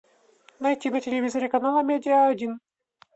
найти на телевизоре канал амедиа один